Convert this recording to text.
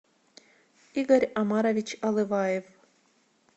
игорь омарович алываев